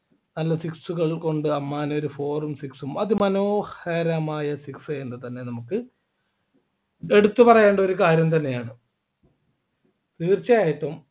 നല്ല six കൾകൊണ്ട് അമ്മാന ഒരു four ഉം six ഉം അതിമനോഹരമായ six എന്ന് തന്നെ നമുക്ക് എടുത്ത് പറയേണ്ട ഒരു കാര്യം തന്നെയാണ് തീർച്ചയായിട്ടും